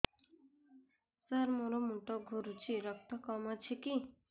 ସାର ମୋର ମୁଣ୍ଡ ଘୁରୁଛି ରକ୍ତ କମ ଅଛି କି